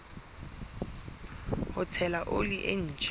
ho tshela oli e ntjha